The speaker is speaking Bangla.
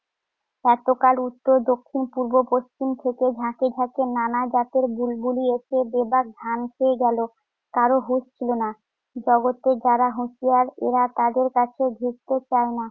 এতকাল উত্তর, দক্ষিণ, পূর্ব, পশ্চিম থেকে ঝাঁকে ঝাঁকে নানা জাতের বুলবুলি এসে বেবাক ধান খেয়ে গেল, কারো হুঁশ ছিল না। জগতে যারা হুঁশিয়ার এরা তাদের কাছে ঘেঁষতে চায় না।